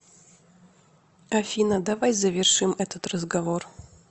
афина давай завершим этот разговор